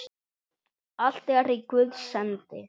Allt er í Guðs hendi.